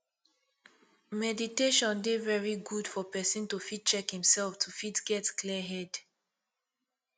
meditation dey very good for person to fit check im self to fit get clear head